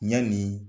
Ɲani